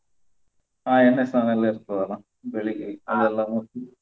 ಹಾ ಎಣ್ಣೆ ಸ್ನಾನ ಎಲ್ಲ ಇರ್ತದಲ್ಲ ಬೆಳಿಗ್ಗೆ ಅದೆಲ್ಲ.